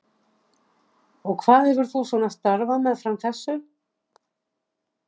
Þóra: Og hvað hefur þú svona starfað meðfram þessu?